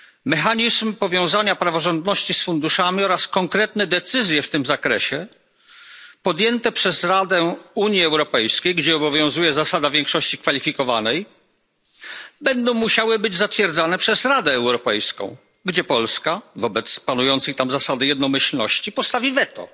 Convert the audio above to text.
Mechanizm powiązania praworządności z funduszami oraz konkretne decyzje w tym zakresie podjęte przez Radę Unii Europejskiej, gdzie obowiązuje zasada większości kwalifikowanej, będą musiały być zatwierdzone przez Radę Europejską, gdzie Polska wobec panującej tam zasady jednomyślności postawi weto.